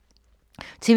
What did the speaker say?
TV 2